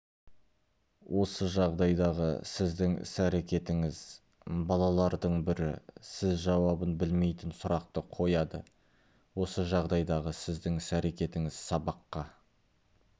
осы жағдайдағы сіздің іс-әрекетіңіз балалардың бірі сіз жауабын білмейтін сұрақты қояды осы жағдайдағы сіздің іс-әрекетіңіз сабаққа